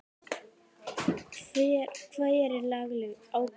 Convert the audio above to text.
Hver er lagaleg ábyrgð?